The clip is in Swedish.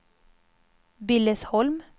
Billesholm